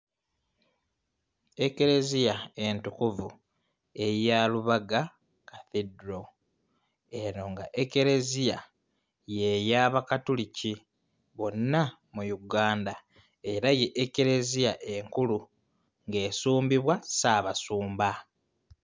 Ekleziya entukuvu eya Lubaga Cathedral eno nga Ekleziya ye y'Abakatoliki wonna mu Uganda era ye Ekleziya enkulu ng'esumbibwa Ssaabasumba.